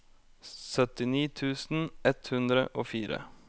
syttini tusen ett hundre og fire